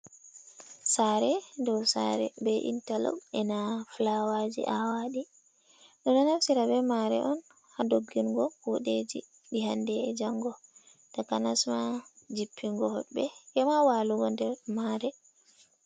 Sare dow sare be intalok, ena filawaji awaɗi. Ɓeɗo naftira be mare on ha doggingo kude ji ɗi hande e jango. Takanasma jippingo hodɓe, ema walugo nder mare.